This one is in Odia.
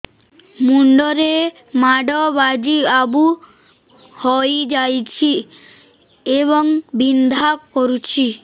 ମୁଣ୍ଡ ରେ ମାଡ ବାଜି ଆବୁ ହଇଯାଇଛି ଏବଂ ବିନ୍ଧା କରୁଛି